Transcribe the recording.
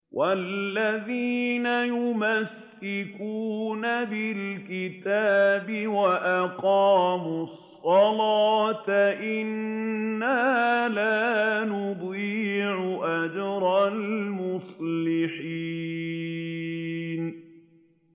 وَالَّذِينَ يُمَسِّكُونَ بِالْكِتَابِ وَأَقَامُوا الصَّلَاةَ إِنَّا لَا نُضِيعُ أَجْرَ الْمُصْلِحِينَ